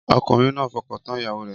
Ọkùnrin náà fọkàntán ìyàwó rẹ̀